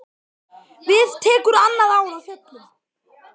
Við tekur annað ár á fjöllum.